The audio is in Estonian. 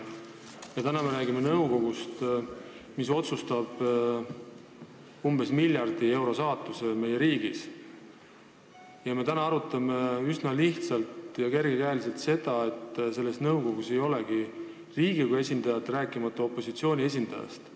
Täna me räägime nõukogust, mis otsustab umbes miljardi euro saatuse meie riigis, meie aga arutame üsna lihtsalt ja kergekäeliselt ettepanekut, et selles nõukogus ei pea olema Riigikogu esindajat, rääkimata opositsiooni esindajast.